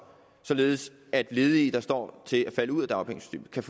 således at ledige der står til at falde ud af dagpengesystemet kan